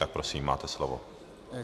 Tak prosím, máte slovo.